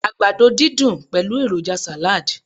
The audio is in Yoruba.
àgbàdo didun pẹlu eroja salad